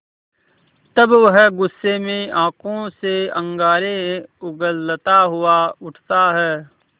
तब वह गुस्से में आँखों से अंगारे उगलता हुआ उठता है